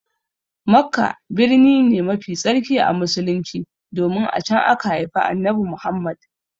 Makka birni ne mafi tsarki a Musulunci domin a can aka haifi Annabi Muhammad.